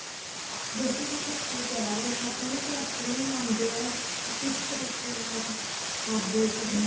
ਜਿਹੜੀ ਤੁਸੀਂ ਫੱਟੀ ਕਹਿ ਰਹੇ ਹੋ ਉਹਨੂੰ ਗਾਚਣੀ ਲਗਾਉਂਦੇ ਹੋ ਉਹ ਕਿਸ ਤਰੀਕੇ ਨਾਲ ਕਰਦੇ ਸੀਗੇ